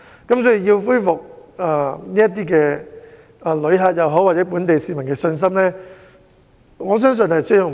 若要恢復旅客或市民的信心，我相信需時甚久。